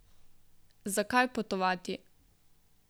Zakaj potovati?